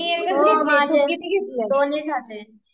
मी एकच घेतलीय तु किती घेतल्या